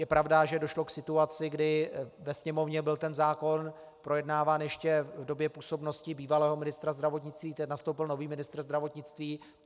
Je pravda, že došlo k situaci, kdy ve Sněmovně byl ten zákon projednáván ještě v době působnosti bývalého ministra zdravotnictví, teď nastoupil nový ministr zdravotnictví.